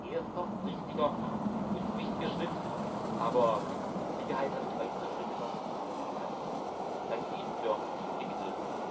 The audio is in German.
Es ist ein erster richtiger und wichtiger Schritt, aber mit Sicherheit werden noch weitere Schritte notwendig sein. Ich danke Ihnen für die Mitwirkung.